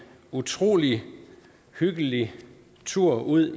utrolig hyggelig tur ud